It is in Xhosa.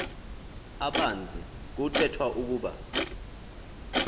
abanzi kuthethwa ukuba